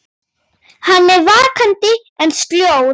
Hann er vakandi en sljór.